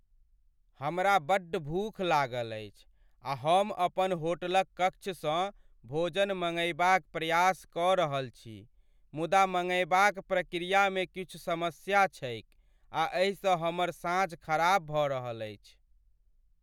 हमरा बड्ड भूख लागल अछि आ हम अपन होटलक कक्षसँ भोजन मंगयबाक प्रयास कऽ रहल छी, मुदा मंगयबाक प्रक्रियामे किछु समस्या छैक आ एहिसँ हमर साँझ खराब भऽ रहल अछि।